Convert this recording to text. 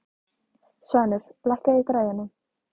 Svanur, lækkaðu í græjunum.